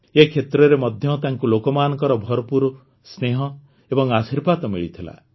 ଏ କ୍ଷେତ୍ରରେ ମଧ୍ୟ ତାଙ୍କୁ ଲୋକମାନଙ୍କର ଭରପୂର ସ୍ନେହ ଏବଂ ଆଶୀର୍ବାଦ ମିଳିଥିଲା